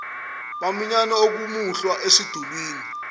baminyane okomuhlwa esidulini